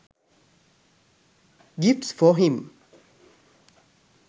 gifts for him